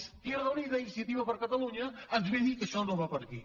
izquierda unida iniciativa per catalunya ens ve a dir que això no va per aquí